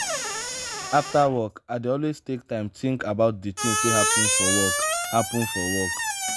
after work i dey always take time tink about di tins wey happen for work. happen for work.